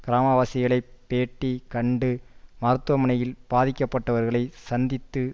கிராம வாசிகளைப் பேட்டி கண்டு மருத்துவமனையில் பாதிக்கப்பட்டவர்களை சந்தித்து